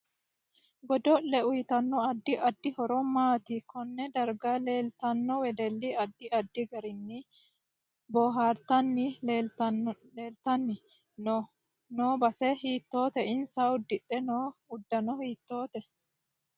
Godole uyiitanno addi addi horo maati konne darga leeltanno wedeli addi addi garinni boohartanni leeltani noo base hiitoote insa udidhe noo uddano hiitoote